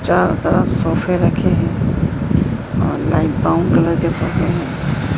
चारों तरफ सोफे रखे हैं और लाइट ब्राउन कलर के सोफे हैं।